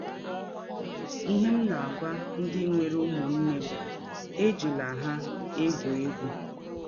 Ihe m na - agwa ndị nwere ụmụnne bụ, ‘ Ejila ha egwụ egwụ! ’”